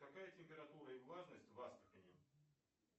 какая температура и влажность в астрахани